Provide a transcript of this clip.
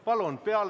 Palun!